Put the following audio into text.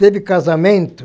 Teve casamento.